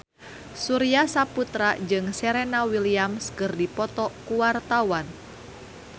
Surya Saputra jeung Serena Williams keur dipoto ku wartawan